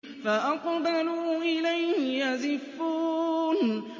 فَأَقْبَلُوا إِلَيْهِ يَزِفُّونَ